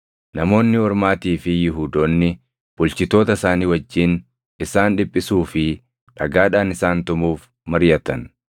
Namoonni Ormaatii fi Yihuudoonni bulchitoota isaanii wajjin isaan dhiphisuu fi dhagaadhaan isaan tumuuf mariʼatan.